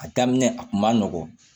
A daminɛ a kun ma nɔgɔn